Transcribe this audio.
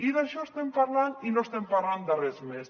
i d’això estem parlant i no estem parlant de res més